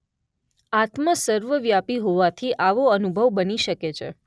આત્મા સર્વવ્યાપી હોવાથી આવો અનુભવ બની શકે છે.